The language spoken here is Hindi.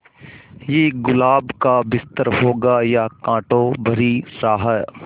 ये गुलाब का बिस्तर होगा या कांटों भरी राह